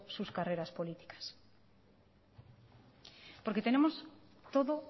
sus carreras políticas porque tenemos todo